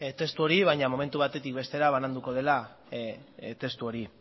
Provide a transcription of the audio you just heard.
testu hori baina momentu batetik bestera bananduko da testu hori